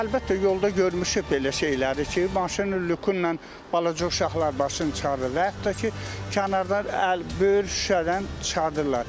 Əlbəttə, yolda görmüşük belə şeyləri ki, maşının lyuku ilə balaca uşaqlar başını çıxarır, və yaxud da ki, kənardan əl böyür şüşədən çıxardırlar.